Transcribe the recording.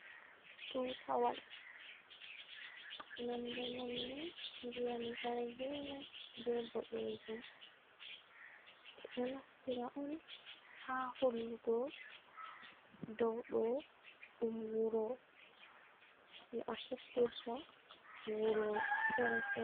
Tutawal nonɗe manni ndiyam jargina be bodejum be ɗo naftira on ha hollugo dow do ɗum wuro no a heftirta wuro fere fere.